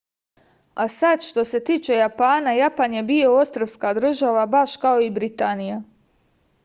a sad što se tiče japana japan je bio ostrvska država baš kao i britanija